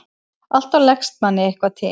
Alltaf leggst manni eitthvað til.